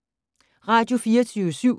Radio24syv